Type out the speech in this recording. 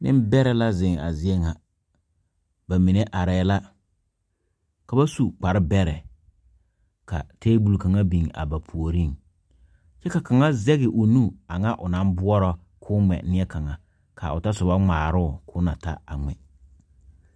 Ninbɛrɛɛ ziŋ a zie ŋa, bamine are la, ka ba su kpare bɛrɛɛ, ka table kaŋa biŋ ba puoriŋ, kyɛ kaŋa zaŋ o nu aŋa o naŋ boɔrɔ ka o ŋmɛ neɛ kaŋa, ka o ta sobɔ ŋmɛrɛ o ka o na ta ŋmɛ